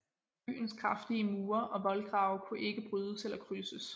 Byens kraftige mure og voldgrave kunne ikke brydes eller krydses